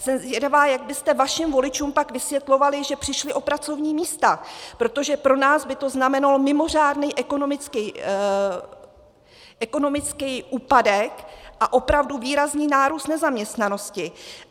Jsem zvědavá, jak byste vašim voličům pak vysvětlovali, že přišli o pracovní místa, protože pro nás by to znamenalo mimořádný ekonomický úpadek a opravdu výrazný nárůst nezaměstnanosti.